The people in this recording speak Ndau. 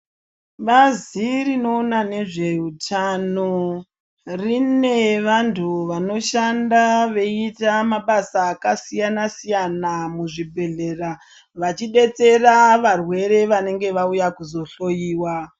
Bazi rinoona nezveutano rine vantu vanoshanda veiita mabasa akasiyana-siyana muzvibhedhlera, vachidetsera varwere vanenge vauya kuzohloyiwa.